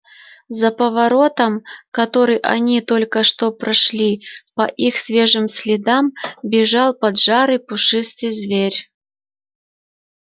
за поворотом который они только что прошли по их свежим следам бежал поджарый пушистый зверь